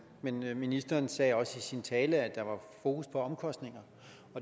men ministeren sagde også i sin tale at der var fokus på omkostninger